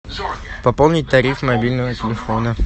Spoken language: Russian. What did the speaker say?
пополнить тариф мобильного телефона